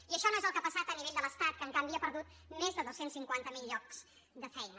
i això no és el que ha passat a nivell de l’estat que en canvi ha perdut més de dos cents i cinquanta miler llocs de feina